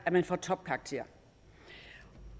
man får topkarakterer